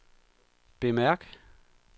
bemærk